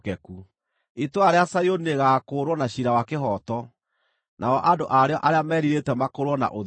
Itũũra rĩa Zayuni rĩgaakũũrwo na ciira wa kĩhooto, nao andũ a rĩo arĩa merirĩte makũũrwo na ũthingu.